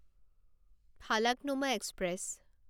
Falaknuma express